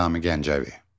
Nizami Gəncəvi.